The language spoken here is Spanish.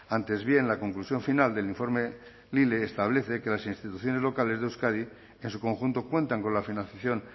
antes bien la conclusión final del informe lile establece que las instituciones locales de euskadi en su conjunto cuentan con la financiación